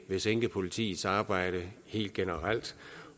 ville sinke politiets arbejde helt generelt